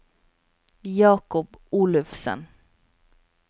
Jakob Olufsen